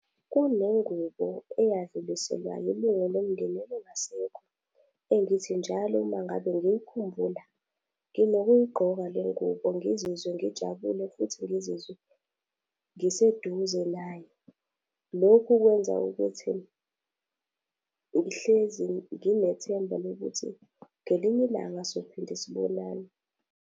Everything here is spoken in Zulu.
Kunengubo eyadluliselwa ilunga lomndeni elingasekho, engithi njalo uma ngabe ngiyikhumbula, nginokuyigqoka le ngubo ngizizwe ngijabule futhi ngizizwe ngiseduze naye. Lokhu kwenza ukuthi ngihlezi nginethemba lokuthi ngelinye ilanga sophinde sibonane.